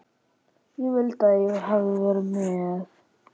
Ég vildi að ég hefði verið með